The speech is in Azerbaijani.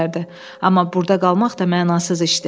Amma burda qalmaq da mənasız işdir.